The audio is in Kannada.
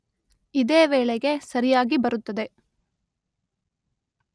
ಇದೇ ವೇಳೆಗೆ ಸರಿಯಾಗಿ ಬರುತ್ತದೆ